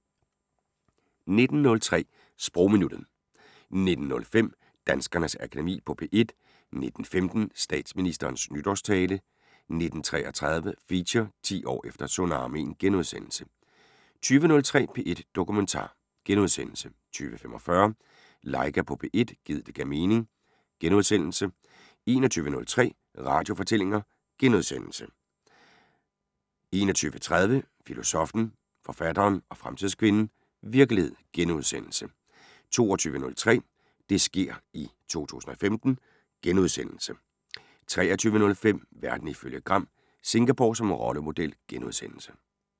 19:03: Sprogminuttet 19:05: Danskernes Akademi på P1 19:15: Statsministerens nytårstale 19:33: Feature: 10 år efter tsunamien * 20:03: P1 Dokumentar * 20:45: Laika på P1 – gid det gav mening * 21:03: Radiofortællinger * 21:30: Filosoffen, forfatteren og fremtidskvinden: Virkelighed * 22:03: Det sker i 2015 * 23:05: Verden ifølge Gram: Singapore som rollemodel *